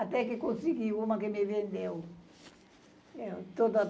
Até que consegui uma que me vendeu. toda